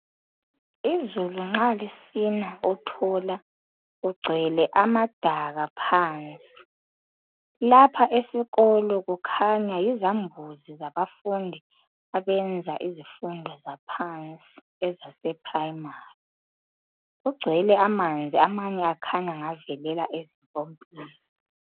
Izulu nxa lisina uthola kugcwele amadaka phansi. Lapha esikolo kukhanya yizambuzi zabafundi abenza izifundo zaphansi ezaseprimary, kugcwele amanzi amanye akhanya ngavelela ezimpompini.